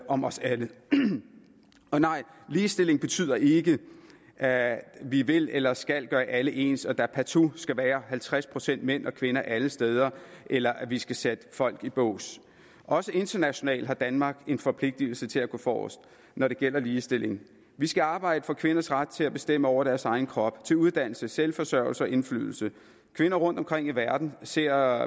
om os alle og nej ligestilling betyder ikke at vi vil eller skal gøre alle ens og at der partout skal være halvtreds procent mænd og kvinder alle steder eller at vi skal sætte folk i bås også internationalt har danmark en forpligtelse til at gå forrest når det gælder ligestilling vi skal arbejde for kvinders ret til at bestemme over deres egen krop til uddannelse selvforsørgelse og indflydelse kvinder rundtomkring i verden ser